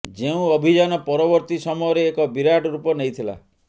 ଯେଉଁ ଅଭିଯାନ ପରବର୍ତ୍ତୀ ସମୟରେ ଏକ ବିରାଟ ରୂପ ନେଇଥିଲା